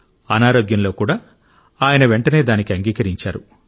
అనారోగ్యంలో కూడా ఆయన వెంటనే దానికి అంగీకరించాడు